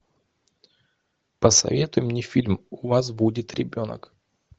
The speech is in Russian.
посоветуй мне фильм у вас будет ребенок